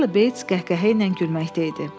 Charlie Bates qəhqəhə ilə gülməkdə idi.